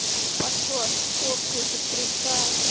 пошла к чёрту эта крита